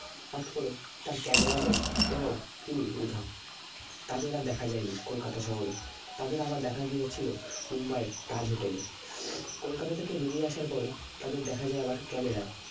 হঠাৎ করে তার camera man এবং তিনি উধাও তাদের আর দেখা যায় নি কলকাতা শহরে তাদের আবার দেখা গিয়েছিল মুম্বাইয়ের তাজ hotel এ কলকাতা থেকে বেরিয়ে আসার পরে দেখা যায় আবার camera য়